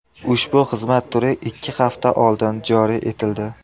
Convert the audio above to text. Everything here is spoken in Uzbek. Ushbu xizmat turi ikki hafta oldin joriy etildi.